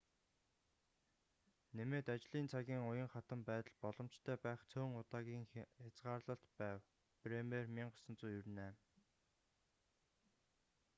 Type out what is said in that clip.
нэмээд ажлын цагийн уян хатан байдал боломжтой байх цөөн удаагийн хязгаарлалт байв. бремер 1998